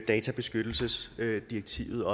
databeskyttelsesdirektivet